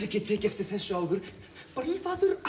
ekki tekið eftir þessu áður bölvaður